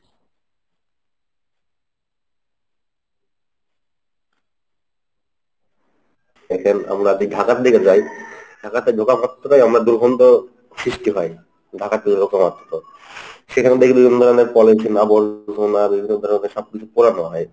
দেখেন আমরা যদি ঢাকার দিকে যাই ঢাকাতে ঢোকার মাত্রই আমরা দুর্গন্ধ সৃষ্টি হয়। ঢাকাতে ঢোকা মাত্র সেখান থেকে বিভিন্ন ধরনের পলিথিন আবর্জনা বিভিন্ন ধরনের সব কিছু পড়ানো হয়।